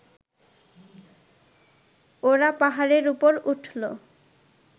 ওরা পাহাড়ের উপর উঠল